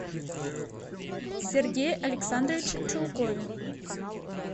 сергее александровиче чулкове